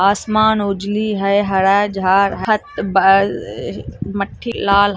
आसमान उजली है हर जा रहा है लाल आसमान--